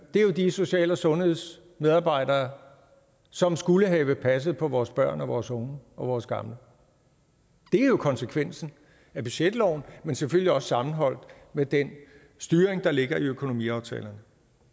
er de social og sundhedsmedarbejdere som skulle have passet på vores børn og vores unge og vores gamle det er jo konsekvensen af budgetloven men selvfølgelig også sammenholdt med den styring der ligger i økonomiaftalerne